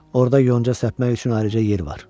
Orda yonca səpmək üçün ayrıca yer var.